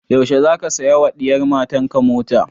Yaushe za ka saya wa diyar matan ka mota?